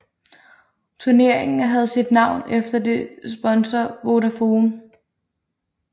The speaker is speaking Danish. Turneringen havde sit navn efter dets sponsor Vodafone